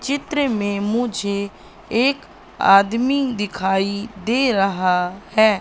चित्र में मुझे एक आदमी दिखाई दे रहा है।